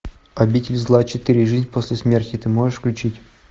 обитель зла четыре жизнь после смерти ты можешь включить